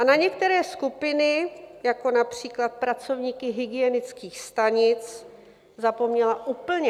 A na některé skupiny, jako například pracovníky hygienických stanic, zapomněla úplně.